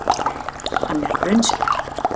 Hann er raunsær.